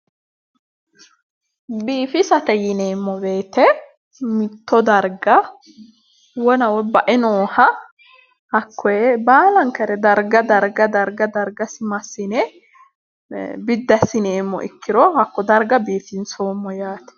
Biiffisate yineemmo weete mitto dariga wona woyi bae nooha hakoye baalankare dariga dariga darigassi massine ee biddi assineemo ikiro hako dariga biiffinsoommo yaate